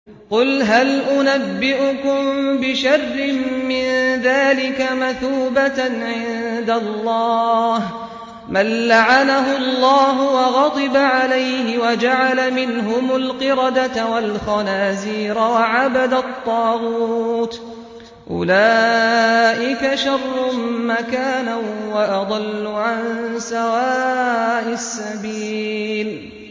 قُلْ هَلْ أُنَبِّئُكُم بِشَرٍّ مِّن ذَٰلِكَ مَثُوبَةً عِندَ اللَّهِ ۚ مَن لَّعَنَهُ اللَّهُ وَغَضِبَ عَلَيْهِ وَجَعَلَ مِنْهُمُ الْقِرَدَةَ وَالْخَنَازِيرَ وَعَبَدَ الطَّاغُوتَ ۚ أُولَٰئِكَ شَرٌّ مَّكَانًا وَأَضَلُّ عَن سَوَاءِ السَّبِيلِ